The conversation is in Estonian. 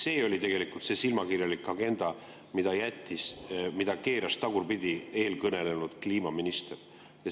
See oli tegelikult see silmakirjalik agenda, mille keeras tagurpidi eelkõnelenud kliimaminister.